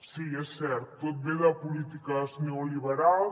sí és cert tot ve de polítiques neoliberals